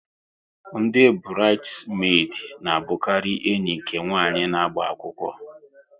Ndị burides medi na abukari ndị enyi nke nwanyị na-agba akwụkwọ